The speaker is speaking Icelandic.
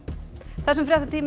þessum